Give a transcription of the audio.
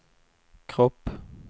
kropp